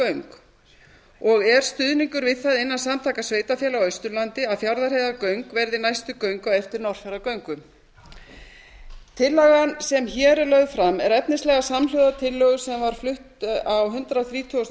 fjarðarheiðargöng og er stuðningur við það innan samtaka sveitarfélaga á austurlandi að fjarðarheiðargöng verði næstu göng á eftir norðfjarðargöngum tillagan sem hér er lögð fram er efnislega samhljóða tillögu sem var flutt á hundrað þrítugasta og